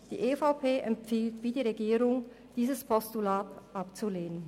Die EVP empfiehlt wie die Regierung, dieses Postulat abzulehnen.